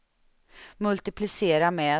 multiplicera med